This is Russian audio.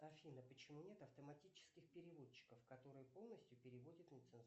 афина почему нет автоматических переводчиков которые полностью переводят